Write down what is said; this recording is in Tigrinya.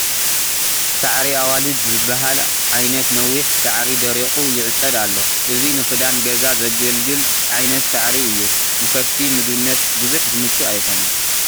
ሳዕሪ ኣዋልድ ዝበሃል ዓይነት ነዊሕ ሳዕሪ ደሪቑ ይዕፀድ ኣሎ፡፡ እዚ ንኽዳን ገዛ ዘግልግል ዓይነት ሳዕሪ እዩ፡፡ ንከፍቲ ምግብነት ብዙሕ ዝምቹ ኣይኮነን፡፡